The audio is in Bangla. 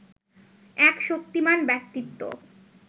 এক শক্তিমান ব্যক্তিত্ব